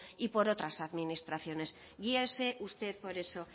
y por otras administraciones guíese usted por eso